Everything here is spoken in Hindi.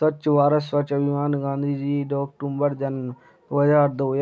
स्वच्छ भारत स्वच्छ अभियान गांधीजी दो अक्टूबर जन दो हजार दो।